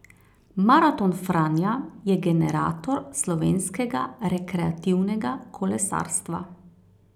Maraton Franja je generator slovenskega rekreativnega kolesarstva.